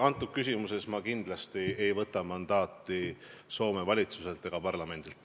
Selles küsimuses ma kindlasti ei oota mandaati Soome valitsuselt ega parlamendilt.